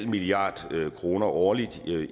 milliard kroner årligt